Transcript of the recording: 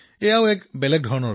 এয়া এক অনন্য অভিজ্ঞতা আছিল